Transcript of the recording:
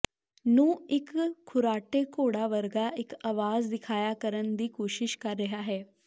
ਨੂੰ ਇੱਕ ਖੁਰ੍ਰਾਟੇ ਘੋੜਾ ਵਰਗਾ ਇੱਕ ਆਵਾਜ਼ ਦਿਖਾਇਆ ਕਰਨ ਲਈ ਕੋਸ਼ਿਸ਼ ਕਰ ਰਿਹਾ ਹੈ